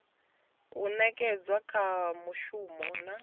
o nekedzwa kha muvhuso na